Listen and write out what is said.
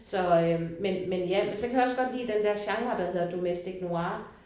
Så øh men men ja men så kan jeg også godt lige den genre der hedder domestic noir